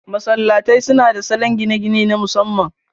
Masallatai suna da salon gine-gine na masamman.